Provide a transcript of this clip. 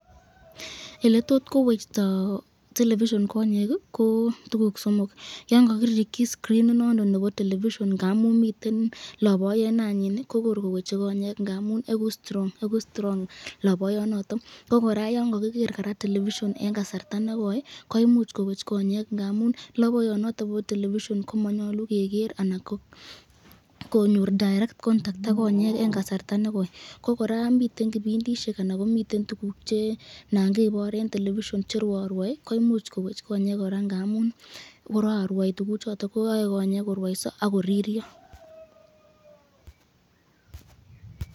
Eletot kowekti television konyeki ko tukuk somok, yan kakirikyi skrinit nondon nebo television ngamun miten loboyo nanyin kokor koweche konyeki ngamun eku strong laboyo noton ko koraa yan kakiger television eng kasarta kekoite koimuch kowech konyekab ngamuni laboyo noton bo television komanyalu keger , konyor direct contact ak konyeki eng kasarta nekoi ,ko koraa miten kipindishek che nangebor eng television che rwae koimuch kowech konyek koraa ngamun yae konyek korwaso ak koriryo .